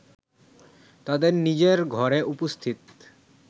তাদের নিজের ঘরে উপস্থিত